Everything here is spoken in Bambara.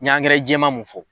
N y'angɛrɛ jɛma mun fɔ